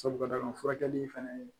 Sabu ka d'a kan furakɛli fɛnɛ ye